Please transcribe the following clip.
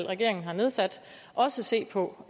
regeringen har nedsat også se på